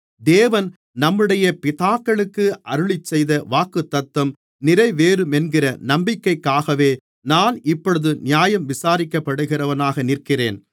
தேவன் நம்முடைய பிதாக்களுக்கு அருளிச்செய்த வாக்குத்தத்தம் நிறைவேறுமென்கிற நம்பிக்கைக்காகவே நான் இப்பொழுது நியாயம் விசாரிக்கப்படுகிறவனாக நிற்கிறேன்